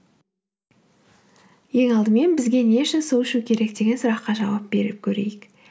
ең алдымен бізге не үшін су ішу керек деген сұраққа жауап беріп көрейік